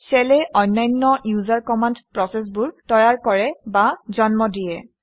shell এ অন্যান্য user command প্ৰচেচবোৰ তৈয়াৰ কৰে বা জন্ম দিয়ে